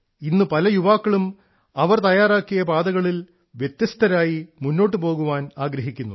ഇന്ന് പല യുവാക്കളും അവർ തയ്യാറാക്കിയ പാതകളിൽ വ്യത്യസ്തരായി മുന്നോട്ടു പോകാൻ ആഗ്രഹിക്കുന്നു